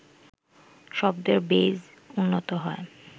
শব্দের বেইজ উন্নত হয়